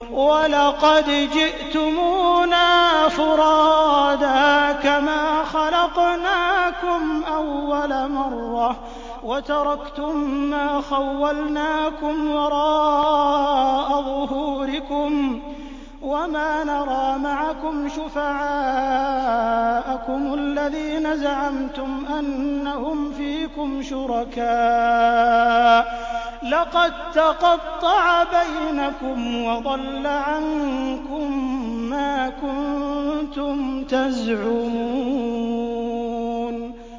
وَلَقَدْ جِئْتُمُونَا فُرَادَىٰ كَمَا خَلَقْنَاكُمْ أَوَّلَ مَرَّةٍ وَتَرَكْتُم مَّا خَوَّلْنَاكُمْ وَرَاءَ ظُهُورِكُمْ ۖ وَمَا نَرَىٰ مَعَكُمْ شُفَعَاءَكُمُ الَّذِينَ زَعَمْتُمْ أَنَّهُمْ فِيكُمْ شُرَكَاءُ ۚ لَقَد تَّقَطَّعَ بَيْنَكُمْ وَضَلَّ عَنكُم مَّا كُنتُمْ تَزْعُمُونَ